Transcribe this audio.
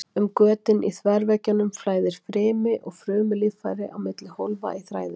Um götin í þverveggjunum flæðir frymi og frumulíffæri á milli hólfa í þræðinum.